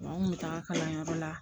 Wa n kun bɛ taga kalanyɔrɔ la